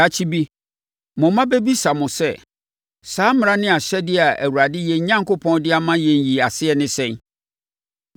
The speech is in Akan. Daakye bi, mo mma bɛbisa mo sɛ, “Saa mmara ne nʼahyɛdeɛ a Awurade, yɛn Onyankopɔn de ama yɛn yi aseɛ ne sɛn?”